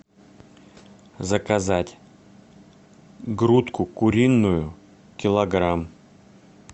заказать грудку куриную килограмм